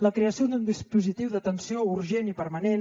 la creació d’un dispositiu d’atenció urgent i permanent